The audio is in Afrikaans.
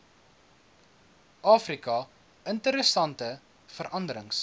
afrika interessante veranderings